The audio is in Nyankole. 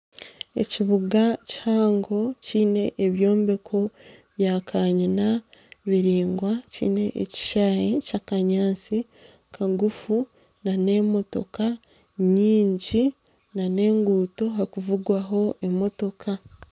Ekibuga kihango kiine ebyombeko bya kanyina biringwa kiine ekishayi ky'akanyaatsi kagufu na n'emotoka nyingi na n'enguuto ahakuvugwaho emotoka